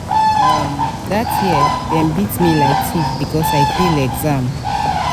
um dat year dem beat me like tiff because i fail exam.